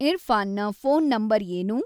ಇರ್ಫಾನ್‌ನ phone number ಏನು